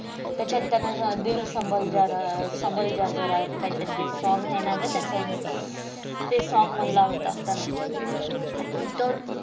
त्याच्यात त्यांना दिल संभल जरा संभल जा काहीतरी ते song आहे ना ग त्याचं ते song म्हणला होता त्यांन. आणि वितत